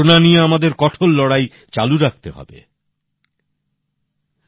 Corona নিয়ে আমাদের কঠোর লড়াই চালু রাখতে হবে।